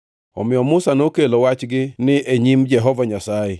Omiyo Musa nokelo wachgini e nyim Jehova Nyasaye